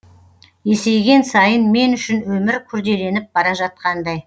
есейген сайын мен үшін өмір күрделеніп бара жатқандай